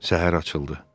Səhər açıldı.